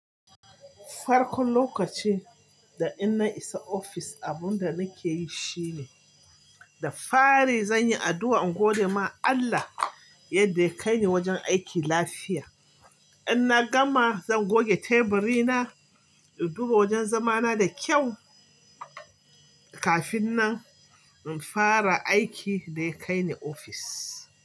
Farkon lokaci da inna isa office, abun da nake yi shine da fari zan yi addu'a in gode ma Allah yadda ya kai ni wajen aiki lafiya. In na gama, zan goge teburi na in duba wajen zamana da kyau kafin na fara aikin da ya kai ni office.